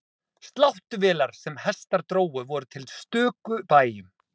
Sláttuvélar sem hestar drógu voru til á stöku bæjum.